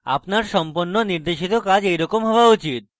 আপনার সম্পন্ন নির্দেশিত কাজ এই রকম হওয়া উচিত